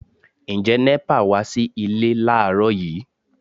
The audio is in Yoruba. Ǹjẹ́ NEPA wá sí ilé láàrọ́ yìí?